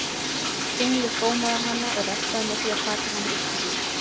Tunglið gómaði hana og refsaði með því að taka hana upp til sín.